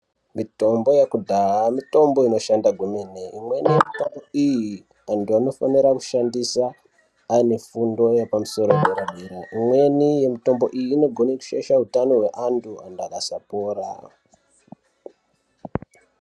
Mitombo yekudhaya mitombo inoshanda kwemene imweni iyi vantu vanofana kuishandisa ane fundo yepamusoro yedera dera imweni yemitombo iyi inogona kushaisha hutano hwevandu vantu vakasapora.